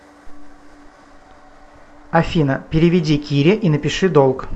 афина переведи кире и напиши долг